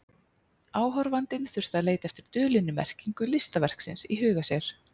Áhorfandinn þurfti að leita eftir dulinni merkingu listaverksins í huga sér.